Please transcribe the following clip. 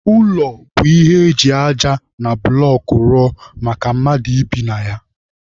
Ụlọ bụ ihe eji aja na bụlọk rụọ maka mmadụ ibi na ya.